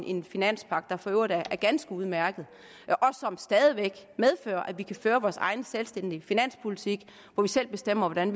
en finanspagt der for øvrigt er ganske udmærket og som stadig væk medfører at vi kan føre vores egen selvstændige finanspolitik hvor vi selv bestemmer hvordan